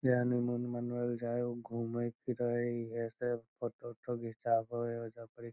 जे हनीमून मनबे ले जाय हेय उ घूमई फिरय हेय इहे से फोटो उटो घीचावे हेय एजा परी।